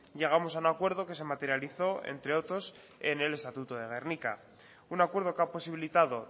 llegamos a un acuerdo que se materializó entre otros en el estatuto de gernika un acuerdo que ha posibilitado